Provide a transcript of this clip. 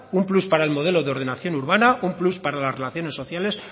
un plus para el modelo de ordenación urbana un plus para las relaciones sociales